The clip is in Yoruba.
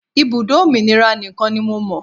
Ibùdó òmìnira nìkan ni mo mọ̀.